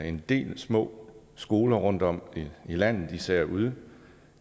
en del små skoler rundtom i landet især ude